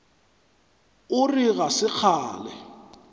o re ga se kgale